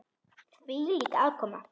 Hvílík aðkoma!